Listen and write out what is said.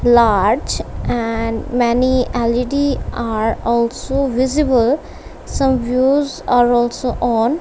large and many L_E_D are also visible some views are also on--